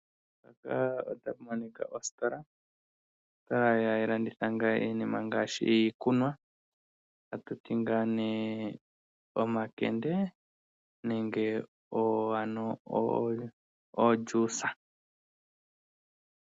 Ositola ndjoka hayi landitha iinima ngaashi iikunwa ta tuti omakende nenge ojuisa.